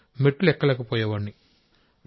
మెట్లు ఎక్కలేకపోయే వాడిని సార్